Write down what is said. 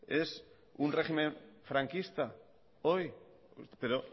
es un régimen franquista hoy pero